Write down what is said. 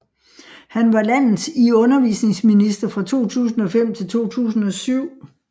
Han var landets i undervisningsminister fra 2005 til 2007